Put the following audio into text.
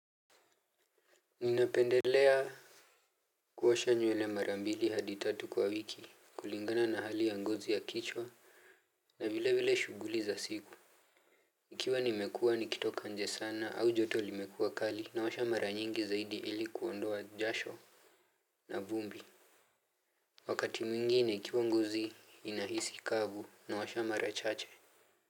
Ninapendelea kuosha nywele mara mbili hadi tatu kwa wiki kulingana na hali ya ngozi ya kichwa. Na vile vile shughuli za siku ikiwa nimekuwa nikitoka nje sana au joto limekua kali naosha mara nyingi zaidi ili kuondoa jasho. Na vumbi wakati mwingine ikiwa ngozi inahisi kavu naosha mara chache.